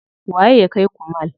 Waye ya kaiku mall?